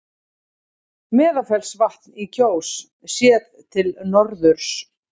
Meðalfellsvatn í Kjós, séð til norðurs.